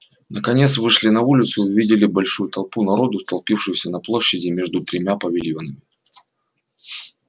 наконец вышли на улицу и увидели большую толпу народу толпившуюся на площади между тремя павильонами